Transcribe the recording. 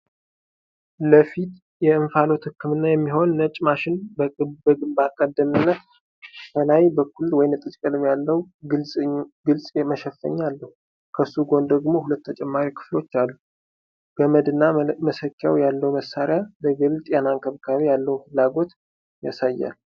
ለፊት የእንፋሎት ህክምና የሚሆን ነጭ ማሽን በግንባር ቀደምትነት፣ ከላይ በኩል ወይንጠጅ ቀለም ያለው ግልጽ መሸፈኛ አለው፣ ከሱ ጎን ደግሞ ሁለት ተጨማሪ ክፍሎች አሉ። ገመድና መሰኪያ ያለው መሳሪያ ለግል ጤና እንክብካቤ ያለውን ፍላጎት ያሳያል።